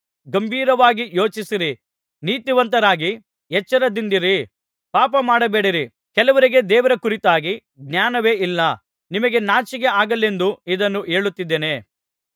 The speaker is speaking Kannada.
ಗಂಭೀರವಾಗಿ ಯೋಚಿಸಿರಿ ನೀತಿವಂತರಾಗಿ ಎಚ್ಚರದಿಂದಿರಿ ಪಾಪಮಾಡಬೇಡಿರಿ ಕೆಲವರಿಗೆ ದೇವರ ಕುರಿತಾಗಿ ಜ್ಞಾನವೇ ಇಲ್ಲ ನಿಮಗೆ ನಾಚಿಕೆ ಆಗಲೆಂದೇ ಇದನ್ನು ಹೇಳುತ್ತಿದ್ದೇನೆ